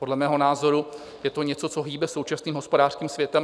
Podle mého názoru je to něco, co hýbe současným hospodářským světem.